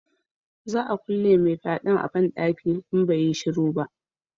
Za a kulle mai fyaden a banɗaki in bai yi shiru ba